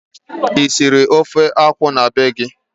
Ị siri ofe akwụ na be gị?